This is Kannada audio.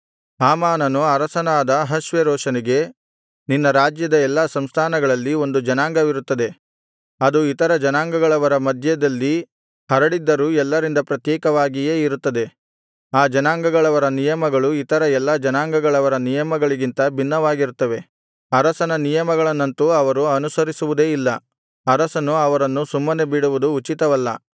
ಹಾಮಾನನು ಅರಸನಾದ ಅಹಷ್ವೇರೋಷನಿಗೆ ನಿನ್ನ ರಾಜ್ಯದ ಎಲ್ಲಾ ಸಂಸ್ಥಾನಗಳಲ್ಲಿ ಒಂದು ಜನಾಂಗವಿರುತ್ತದೆ ಅದು ಇತರ ಜನಾಂಗಗಳವರ ಮಧ್ಯದಲ್ಲಿ ಹರಡಿದ್ದರೂ ಎಲ್ಲರಿಂದ ಪ್ರತ್ಯೇಕವಾಗಿಯೇ ಇರುತ್ತದೆ ಆ ಜನಾಂಗಗಳವರ ನಿಯಮಗಳು ಇತರ ಎಲ್ಲಾ ಜನಾಂಗಗಳವರ ನಿಯಮಗಳಿಗಿಂತ ಭಿನ್ನವಾಗಿರುತ್ತವೆ ಅರಸನ ನಿಯಮಗಳನ್ನಂತೂ ಅವರು ಅನುಸರಿಸುವುದೇ ಇಲ್ಲ ಅರಸನು ಅವರನ್ನು ಸುಮ್ಮನೆ ಬಿಡುವುದು ಉಚಿತವಲ್ಲ